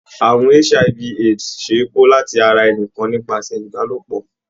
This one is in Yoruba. Àrùn HIV/AIDS ṣe é kó láti ara ẹnìkan nípasẹ̀ Ìbálòpọ̀.